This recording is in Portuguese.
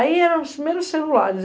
Aí eram os primeiros celulares.